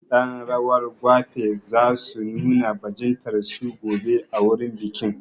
Ƴan rawar gwafe za su nuna bajintar su gobe a wurin bikin.